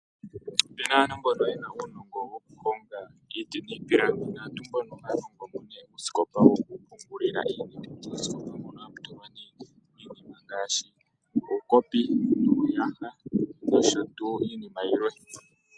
Aantu mbono yena uunongo wokuhonga iipilangi. Naantu mbono ohaya hongo mo nee uusikopa wokupungulila iinima. Muusikopa mbuno ohamu tulwa nee nee iinima ngaashi uukopi nuuyaha nosho tuu iinima yilwe.